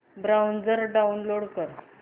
browser download कर